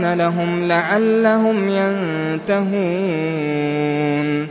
أَيْمَانَ لَهُمْ لَعَلَّهُمْ يَنتَهُونَ